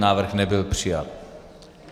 Návrh nebyl přijat.